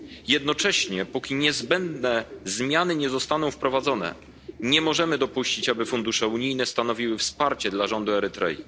Jednocześnie póki niezbędne zmiany nie zostaną wprowadzone, nie możemy dopuścić, aby fundusze unijne stanowiły wsparcie dla rządu Erytrei.